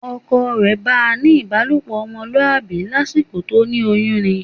Ọkọ rẹ̀ bá ń ní ìbálòpọ̀ ọmọlúwàbí lásìkò tó ní oyún ni